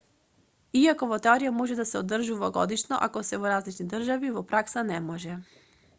иако во теорија може да се одржуваат годишно ако се во различни држави во пракса не може